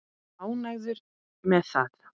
Ánægður með það?